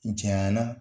Jayan na